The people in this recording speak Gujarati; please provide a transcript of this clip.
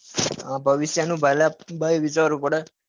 હા ભવિષ્ય નું પેલા ભાઈ વિચારવું પડે